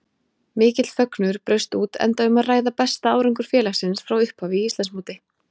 Mikill fögnuður braust út enda um að ræða besta árangur félagsins frá upphafi í Íslandsmóti.